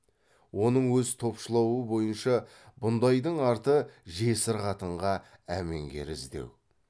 оның өз топшылауы бойынша бұндайдың арты жесір қатынға әменгер іздеу